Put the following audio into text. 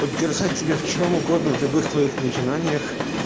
поддержать тебя в чем угодно в любых твоих начинаниях